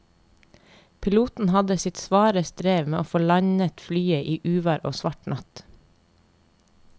Piloten hadde sitt svare strev med å få landet flyet i uvær og svart natt.